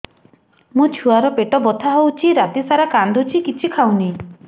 ମୋ ଛୁଆ ର ପେଟ ବଥା ହଉଚି ରାତିସାରା କାନ୍ଦୁଚି କିଛି ଖାଉନି